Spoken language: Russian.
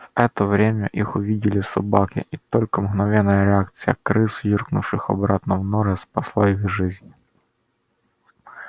в это время их увидели собаки и только мгновенная реакция крыс юркнувших обратно в норы спасла их жизнь